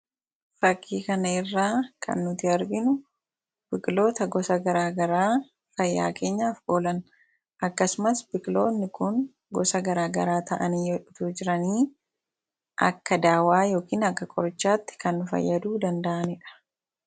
Fakii kana irraa kan nuti arginu biqiloota gosa garagaraa fayyaa keenyaaf oolan. Akkasumas biqiloota gosa garagaraa ta'anii akka dawaatti kan nu fayyaduu danda'aniidha